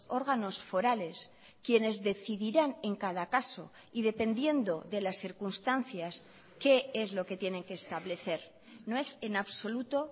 órganos forales quienes decidirán en cada caso y dependiendo de las circunstancias qué es lo que tienen que establecer no es en absoluto